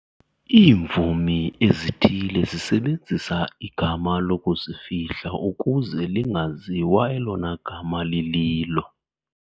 Iimvumi ezithile zisebenzisa igama lokuzifihla ukuze lingaziwa elona gama lililo.